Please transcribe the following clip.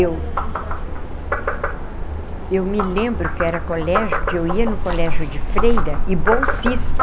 Eu. Se a senhora não lembrar não precisar falar também... Eu me lembro que era colégio... que eu ia no colégio de Freira e bolsista.